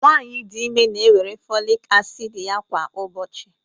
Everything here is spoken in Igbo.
nwanyị dị ime na-ewere folic acid ya kwa ụbọchị